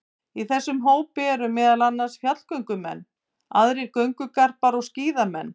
Í þessum hópi eru meðal annars fjallgöngumenn, aðrir göngugarpar og skíðamenn.